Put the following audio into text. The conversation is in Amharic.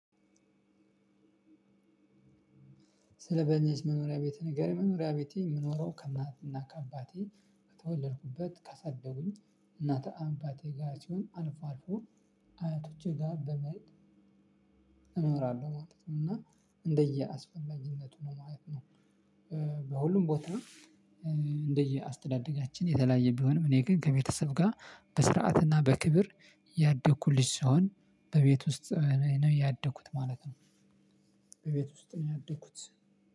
ስለ መኖሪያ ቤት ንገረን መኖሪያ ቤቴ የምኖረው ከማትና ከአባቴ በተወለድኩበት ከሰደጉኝ እናት አባቴ ጋር ሲሆን አልፎ አልፎ አያቶቼ ጋር በመሄድ እኖራለሁ ማለት ነው እና እንደየአስፈላጊነቱ ነው ማለት ነው። በሁሉም ቦታ እንደየ አስተዳደጋችን የተለያየ ቢሆንም እኔ ግን ከቤተሰብ ጋር በስርዓትና በክብር ያደኩ ልጅ ሲሆን በቤት ውስጥ ነው ያደኩት ማለት ነው። በቤት ውስጥ ነው ያደኩት።